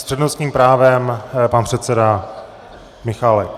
S přednostním právem pan předseda Michálek.